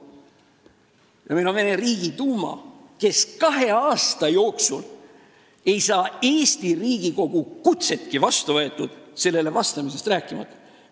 Ja meil on Venemaa Riigiduuma, kes ei saa kahe aasta jooksul Eesti Riigikogu kutsetki vastu võetud, sellele vastamisest rääkimata.